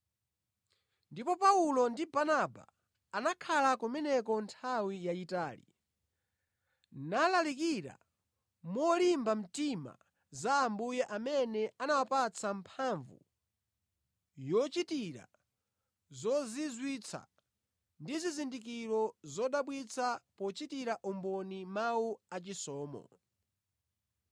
Ndipo Paulo ndi Barnaba anakhala kumeneko nthawi yayitali, nalalikira molimba mtima za Ambuye amene anawapatsa mphamvu yochitira zozizwitsa ndi zizindikiro zodabwitsa pochitira umboni mawu a chisomo.